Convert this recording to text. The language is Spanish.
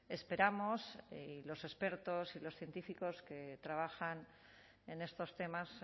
esperamos y los expertos y los científicos que trabajan en estos temas